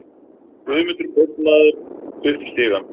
Guðmundur kaupmaður upp stigann.